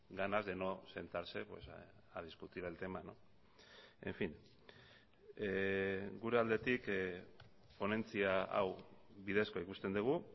ganas de no sentarse a discutir el tema en fin gure aldetik ponentzia hau bidezkoa ikusten dugu